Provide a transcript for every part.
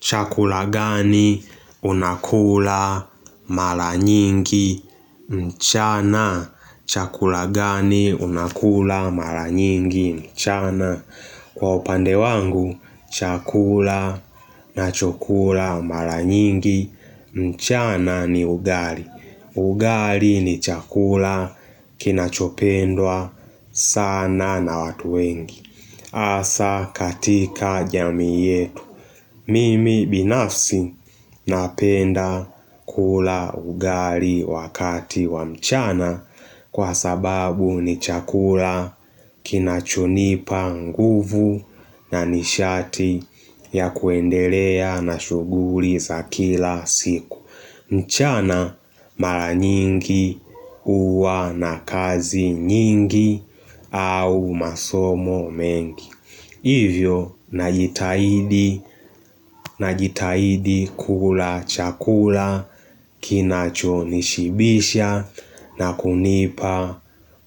Chakula gani unakula mara nyingi mchana? Chakula gani unakula mara nyingi mchana? Kwa upande wangu, chakula nachokula mara nyingi mchana ni ugali. Ugali ni chakula kinachopendwa sana na watu wengi. Asa katika jamii yetu. Mimi binafsi napenda kula ugali wakati wa mchana kwa sababu ni chakula kinachonipa nguvu na nishati ya kuendelea na shuguli za kila siku. Mchana mara nyingi uwa na kazi nyingi au masomo mengi Hivyo najitahidi na jitahidi kula chakula kinacho nishibisha na kunipa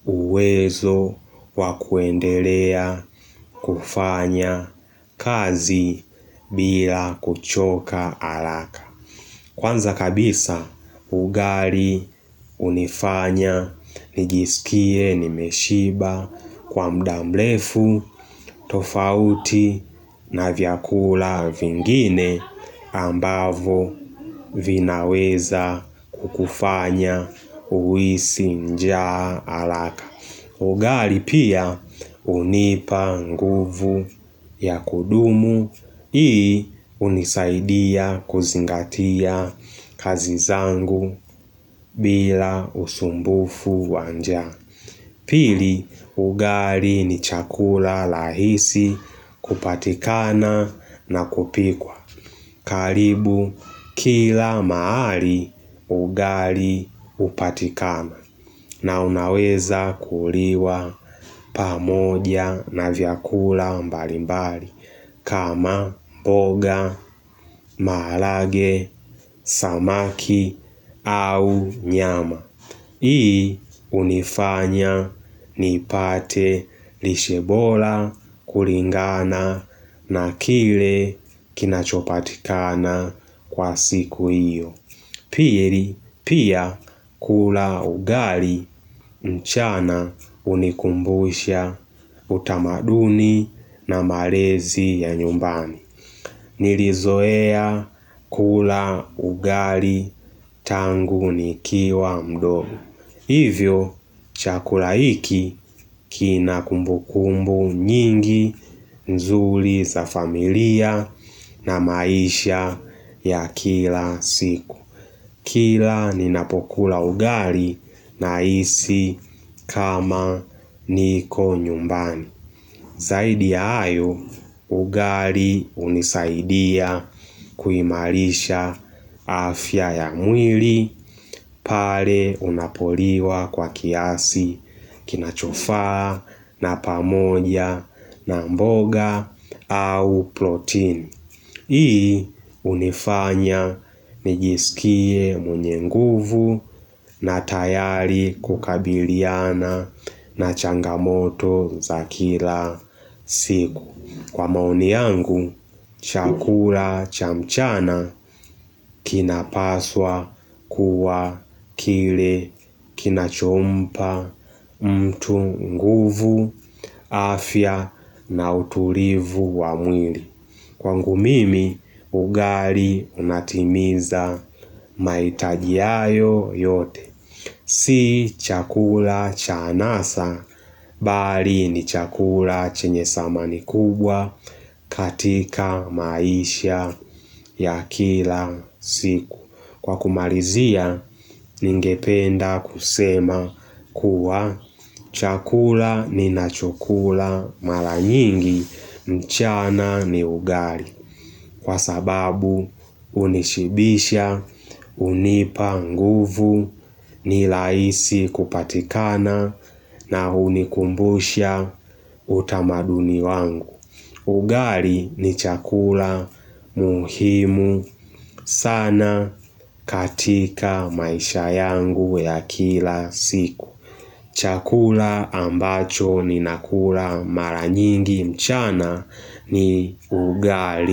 uwezo wa kuendelea kufanya kazi bila kuchoka haraka Kwanza kabisa ugali hunifanya nijisikie nimeshiba kwa mudamrefu tofauti na vyakula vingine ambavo vinaweza kukufanya huisi njaa araka. Ugali pia hunipa nguvu ya kudumu, hii hunisaidia kuzingatia kazi zangu bila usumbufu wa njaa. Pili, ugari ni chakula lahisi kupatikana na kupikwa. Karibu kila mahali ugali upatikana na unaweza kuliwa pamoja na vyakula mbali mbali kama mboga, maarage, samaki au nyama. Hii unifanya nipate lishe bora kulingana na kile kinachopatikana kwa siku hiyo. Pili pia kula ugali mchana hunikumbusha utamaduni na malezi ya nyumbani. Nilizoea kula ugali tangu nikiwa mdogo. Hivyo, chakula hiki kina kumbukumbu nyingi nzuri za familia na maisha ya kila siku. Kila ni napokula ugali nahisi kama niko nyumbani. Zaidi ya hayo, ugali hunisaidia kuimarisha afya ya mwili pale unapoliwa kwa kiasi kinachofaa na pamoja na mboga au protein. Hii hunifanya nijisikie mwenye nguvu na tayari kukabiliana na changamoto za kila siku. Kwa maoni yangu, chakula cha mchana kinapaswa kuwa kile kinachompa mtu nguvu afya na utulivu wa mwili. Kwangu mimi, ugali unatimiza maitaji hayo yote. Si chakula cha anasa, bali ni chakula chenye samani kubwa katika maisha ya kila siku. Kwa kumalizia, ningependa kusema kuwa chakula ni nachokula mara nyingi, mchana ni ugali. Kwa sababu hunishibisha, hunipa nguvu, niraisi kupatikana na hunikumbusha utamaduni wangu Ugali ni chakula muhimu sana katika maisha yangu ya kila siku Chakula ambacho ninakula maranyingi mchana ni ugali.